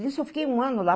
Nisso eu fiquei um ano lá.